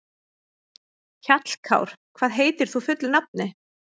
Hjallkár, hvað heitir þú fullu nafni?